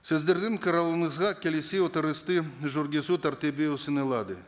сіздердің қарауыңызға келесі отырысты жүргізу тәртібі ұсынылады